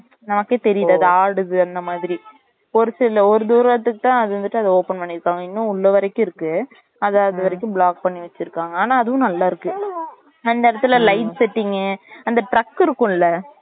நமக்கே தெரியுது அது ஆடுது அந்த மாதிரி ஒரு சில ஒரு தூரத்துக்கு தான் அது வந்துட்டு open பண்ணி இருக்காங்க இன்னும் உள்ள வரைக்கும் இருக்கு அத அதும் வரைக்கும் block பண்ணி வச்சு இருக்காங்க ஆனா அதுவும் நல்லா இருக்கு அந்த இடத்துல light setting கு அந்த truck இருக்கும்ல